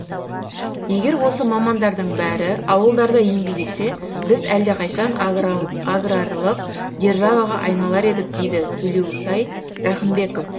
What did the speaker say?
егер осы мамандардың бәрі ауылдарда еңбек етсе біз әлдеқайшан аграрлық державаға айналар едік дейді төлеутай рақымбеков